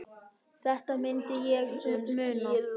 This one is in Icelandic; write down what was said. Þetta myndi ég muna!